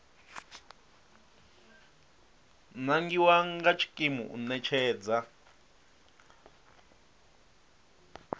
nangiwa nga tshikimu u ṋetshedza